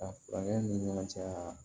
A furancɛw ni ɲɔgɔn cɛ